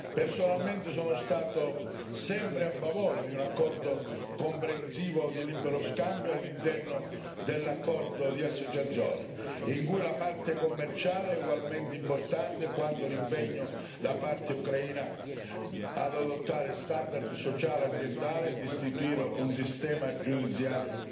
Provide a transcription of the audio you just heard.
Personalmente sono stato sempre a favore di un accordo comprensivo di libero scambio all'interno dell'accordo d'associazione, in cui la parte commerciale è ugualmente importante quanto l'impegno da parte ucraina ad adottare standard sociali e ambientali e a istituire un sistema giudiziario